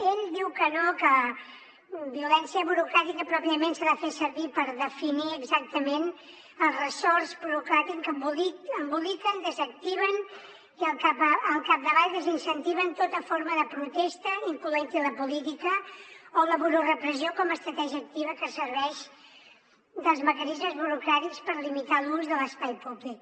ell diu que no que violència burocràtica pròpiament s’ha de fer servir per definir exactament els ressorts burocràtics que emboliquen desactiven i al capdavall desincentiven tota forma de protesta incloent hi la política o la burorepressió com a estratègia activa que se serveix dels mecanismes burocràtics per limitar l’ús de l’espai públic